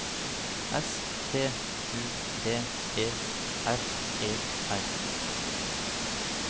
S T U D E R E R